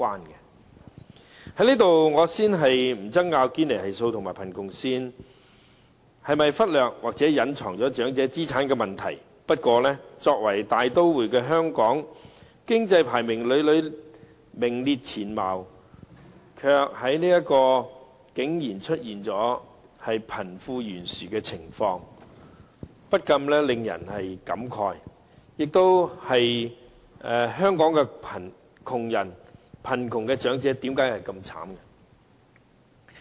在此，我先不爭拗堅尼系數和貧窮線是否忽略或隱藏了長者資產的問題，不過，作為大都會的香港，經濟排名屢屢名列前茅，卻竟然出現貧富懸殊的情況，不禁令人慨嘆，香港的窮人和貧窮長者為何這麼淒慘？